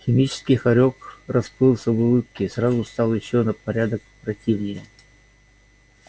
химический хорёк расплылся в улыбке и сразу стал ещё на порядок противнее